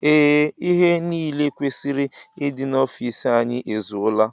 Ee ihe niile kwesịrị ịdị n'ofici anyị ezuola.